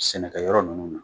Sɛnɛkɛyɔrɔ nunnu na